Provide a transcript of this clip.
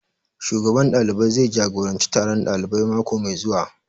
Shugaban ɗalibai zai jagoranci taron ɗalibai mako mai zuwa